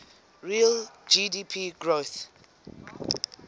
real gdp growth